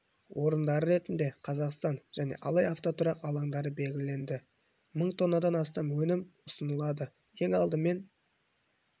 орындары ретінде қазақстан және алай автотұрақ алаңдары белгіленді мың тоннадан астам өнім ұсынылады ең алдымен